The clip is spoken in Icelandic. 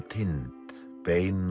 tind beina